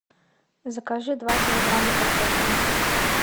закажи два килограмма картофеля